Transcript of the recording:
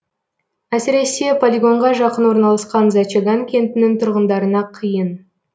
әсіресе полигонға жақын орналасқан зачаган кентінің тұрғындарына қиын